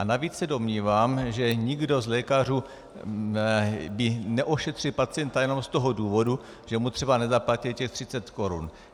A navíc se domnívám, že nikdo z lékařů by neošetřil pacienta jenom z toho důvodu, že mu třeba nezaplatil těch 30 korun.